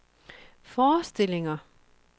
forestillinger